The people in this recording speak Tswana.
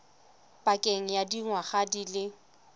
pakeng ya dingwaga di le